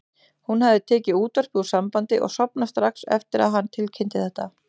Hann hafði tekið útvarpið úr sambandi og sofnað strax eftir að hann tilkynnti þetta.